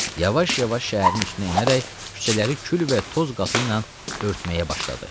Yavaş-yavaş şəhərin üstünə enərək küçələri kül və toz qatı ilə örtməyə başladı.